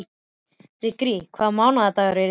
Vigri, hvaða mánaðardagur er í dag?